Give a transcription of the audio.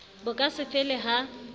bo ka se fele ha